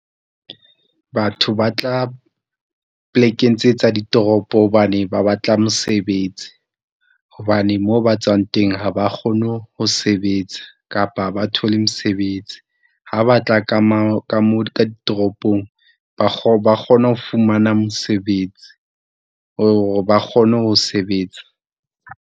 Batho ba tla polekeng tse tsa ditoropo hobane ba ba tla mosebetsi. Hobane moo ba tswang teng, ha ba kgone ho sebetsa kapa ha ba thole mesebetsi. Ha ba tla ka , ka mo ka ditoropong, ba ba kgona ho fumana mosebetsi hore ba kgone ho sebetsa.